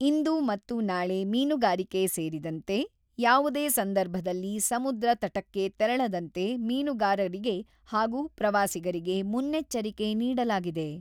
ಇಂದು ಮತ್ತು ನಾಳೆ ಮೀನುಗಾರಿಕೆ ಸೇರಿದಂತೆ, ಯಾವುದೇ ಸಂದರ್ಭದಲ್ಲಿ ಸಮುದ್ರ ತಟಕ್ಕೆ ತೆರಳದಂತೆ, ಮೀನುಗಾರರಿಗೆ ಹಾಗೂ ಪ್ರವಾಸಿಗರಿಗೆ ಮುನ್ನೆಚ್ಚರಿಕೆ ನೀಡಲಾಗಿದೆ.